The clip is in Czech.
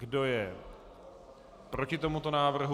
Kdo je proti tomuto návrhu?